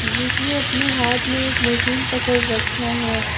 जिसने अपने हाथ में एक मशीन पकड़ रखा है।